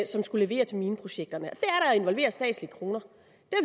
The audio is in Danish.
som skal levere til mineprojekterne og involvere statslige kroner